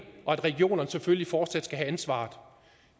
og at regionerne selvfølgelig fortsat skal have ansvaret